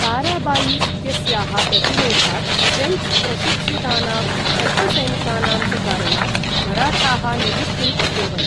ताराबाई इत्यस्याः प्रतिरोधात्, ऴ्रेञ्च् प्रशिक्षितानां शत्रुसैनिकानाम् च कारणात्, मराठाः निवृत्तिम् अकुर्वन्।